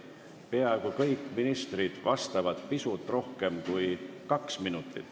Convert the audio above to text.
Peaaegu kõik ministrid vastavad pisut rohkem kui kaks minutit.